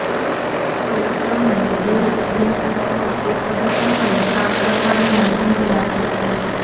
તે તમને બે સ્ટ્રીમ્સ પર એક જ સમયે કામ કરવાની મંજૂરી આપે છે